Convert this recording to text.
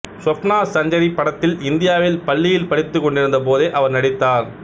சுவப்னா சஞ்சரி படத்தில் இந்தியாவில் பள்ளியில் படித்துக்கொண்டிருந்த போதே அவர் நடித்தார்